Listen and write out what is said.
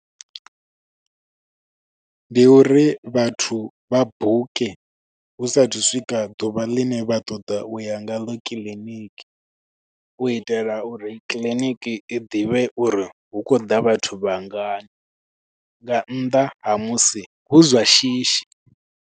Ndi uri vhathu vha buke hu sathu swika ḓuvha ḽine vha ṱoḓa u ya nga ḽo kiḽiniki, u itela uri kiḽiniki i ḓivhe uri hu khou ḓa vhathu vhangana. Nga nnḓa ha musi hu zwa shishi.